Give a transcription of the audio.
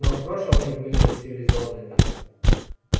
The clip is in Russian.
но в прошлом они были цивилизованными